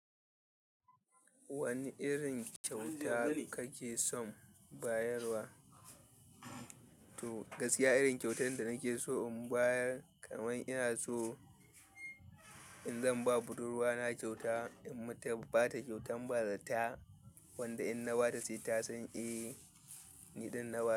Wani irin kyauta kake son bayarwa? To gaskiya irin kyautan da nake so in bayar, kamar ina so, in zan ba budurwa na kyauta, in mata ba ta kyautan bazata wanda in na ba ta sai ta san, "E, ni ɗan nab."